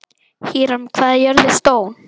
Híram, hvað er jörðin stór?